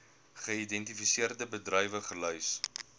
geïdentifiseerde bedrywe gelys